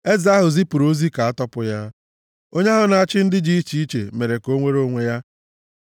Eze ahụ zipụrụ ozi ka a tọpụ ya, onye ahụ na-achị ndị dị iche iche mere ka o nwere onwe ya.